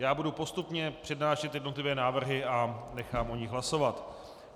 Já budu postupně přednášet jednotlivé návrhy a nechám o nich hlasovat.